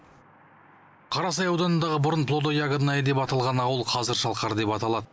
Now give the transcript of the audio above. қарасай ауданындағы бұрын плодо ягодная деп аталған ауыл қазір шалқар деп аталады